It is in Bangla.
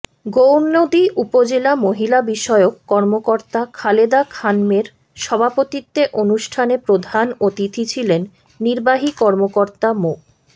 গৌরনদী উপজেলা মহিলা বিষয়ক কর্মকর্তা খালেদা খানমের সভাপতিত্বে অনুষ্ঠানে প্রধান অতিথি ছিলেন নির্বাহী কর্মকর্তা মো